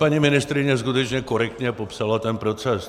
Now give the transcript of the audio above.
Paní ministryně skutečně korektně popsala ten proces.